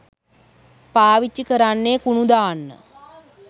පාවිච්චි කරන්නෙ කුණු දාන්න.